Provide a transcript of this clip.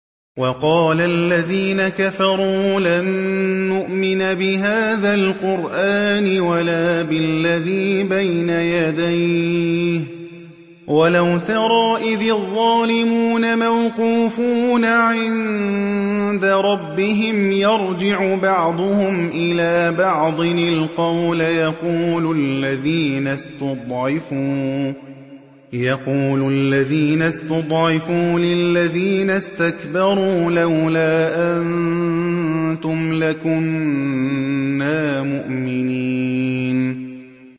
وَقَالَ الَّذِينَ كَفَرُوا لَن نُّؤْمِنَ بِهَٰذَا الْقُرْآنِ وَلَا بِالَّذِي بَيْنَ يَدَيْهِ ۗ وَلَوْ تَرَىٰ إِذِ الظَّالِمُونَ مَوْقُوفُونَ عِندَ رَبِّهِمْ يَرْجِعُ بَعْضُهُمْ إِلَىٰ بَعْضٍ الْقَوْلَ يَقُولُ الَّذِينَ اسْتُضْعِفُوا لِلَّذِينَ اسْتَكْبَرُوا لَوْلَا أَنتُمْ لَكُنَّا مُؤْمِنِينَ